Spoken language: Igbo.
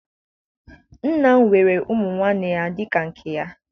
Nna m were ụmụ nwanne ya dị ka nke ya